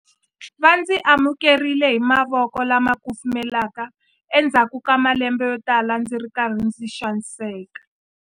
Va ndzi amukerile hi mavoko lama kufumelaka endzhaku ka malembe yotala ndzi ri karhi ndzi xaniseka.